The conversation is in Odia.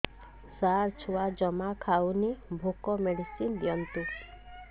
ସାର ଛୁଆ ଜମା ଖାଉନି ଭୋକ ମେଡିସିନ ଦିଅନ୍ତୁ